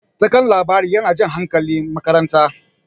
Taken labari yana jan hankalin makaranta.